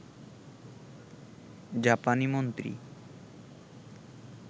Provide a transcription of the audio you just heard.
জাপানি মন্ত্রী